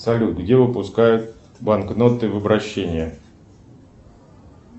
салют где выпускают банкноты в обращение